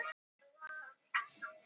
Vinnubúðir verði fangelsi